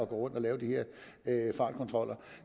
gå rundt og lave de her fartkontroller